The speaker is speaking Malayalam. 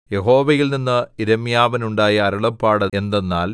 യഹോവയിൽനിന്ന് യിരെമ്യാവിനുണ്ടായ അരുളപ്പാട് എന്തെന്നാൽ